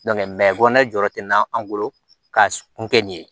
kɔnɔna jɔyɔrɔ tɛ na an bolo ka kun kɛ nin ye